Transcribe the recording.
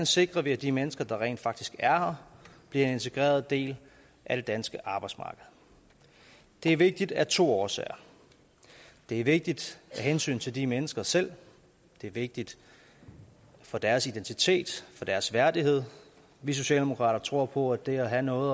sikrer at de mennesker der rent faktisk er her bliver en integreret del af det danske arbejdsmarked det er vigtigt af to årsager det er vigtigt af hensyn til de mennesker selv det er vigtigt for deres identitet for deres værdighed vi socialdemokrater tror på at det at have noget